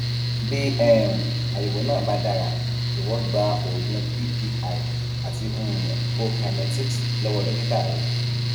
bí um àyẹwò náà bá dára jọwọ gba oògùn ppi àti um prokinetics lọwọ dókítà rẹ